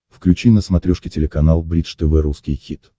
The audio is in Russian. включи на смотрешке телеканал бридж тв русский хит